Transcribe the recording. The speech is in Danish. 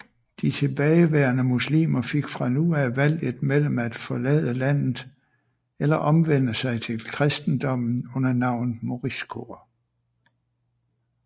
De tilbageværende muslimer fik fra nu af valget mellem at forlade landet eller omvende sig til kristendommen under navnet moriscoer